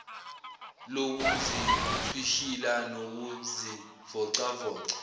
lokuzithwishila nokuzivoca voca